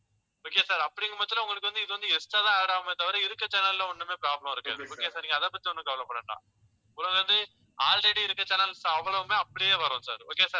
okay sir அப்படிங்கற பட்சத்தில உங்களுக்கு வந்து இது வந்து extra தான் add ஆகுமே தவிர இருக்கிற channel ல ஒண்ணுமே problem இருக்காது. okay sir நீங்க அதைப் பத்தி ஒண்ணும் கவலைப்பட வேண்டாம். உங்களுக்கு வந்து already இருக்கிற channels அவ்வளவுமே அப்படியே வரும் sir, okay sir